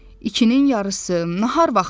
İkinin yarısı nahar vaxtıdır.